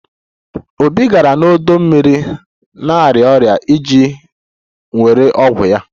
Obi gara n'ọdọ mmiri na-arịa ọrịa iji were ọgwụ ya